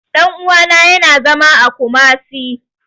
Ɗan uwana ya na zama a Kumasi